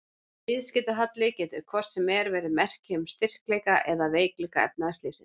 Viðskiptahalli getur hvort sem er verið merki um styrkleika eða veikleika efnahagslífsins.